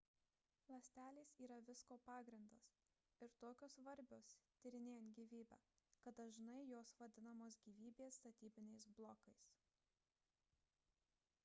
ląstelės yra visko pagrindas ir tokios svarbios tyrinėjant gyvybę kad dažnai jos vadinamos gyvybės statybiniais blokais